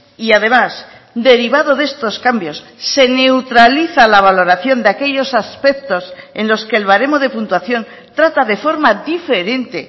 y además derivado de estos cambios se neutraliza la valoración de aquellos aspectos en los que el baremo de puntuación trata de forma diferente